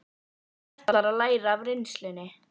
Hún ætlar að læra af reynslunni.